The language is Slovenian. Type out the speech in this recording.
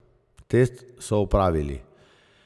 Test so opravili.